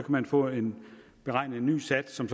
man få en beregnet ny sats som